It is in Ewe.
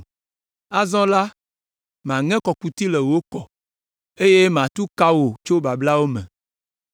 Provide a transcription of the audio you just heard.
Azɔ la, maŋe kɔkuti le wò kɔ, eye matu ka wò tso bablawo me.”